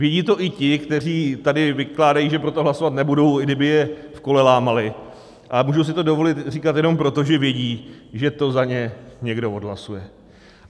Vědí to i ti, kteří tady vykládají, že pro to hlasovat nebudou, i kdyby je v kole lámali, a můžou si to dovolit říkat jenom proto, že vědí, že to za ně někdo odhlasuje.